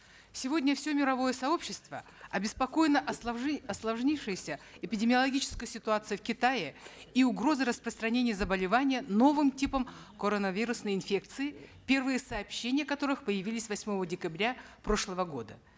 сегодня все мировое сообщество обеспокоено осложнившейся эпидемиологической ситуацией в китае и угрозой распространения заболевания новым типом коронавирусной инфекции первые сообщения о которых появились восьмого декабря прошлого года